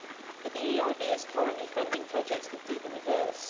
But the EIB is currently funding projects that do the reverse.